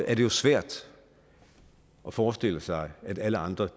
er det jo svært at forestille sig at alle andre